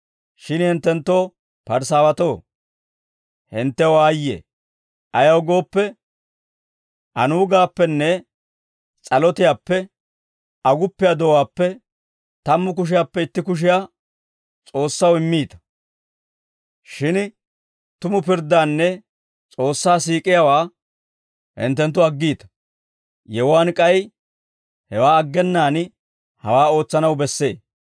«Shin hinttenttoo Parisaawatoo, hinttew aayye! Ayaw gooppe, anuugaappenne s'alotiyaappe, aguppiyaa do'uwaappe, tammu kushiyaappe itti kushiyaa S'oossaw immiita; shin tumu pirddaanne S'oossaa siik'iyaawaa hinttenttu aggiita. Yewuwaan k'ay hewaa aggenaan hawaa ootsanaw bessee.